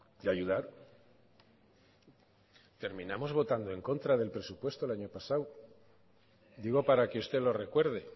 y ayudar terminamos votando en contra del presupuesto el año pasado digo para que usted lo recuerde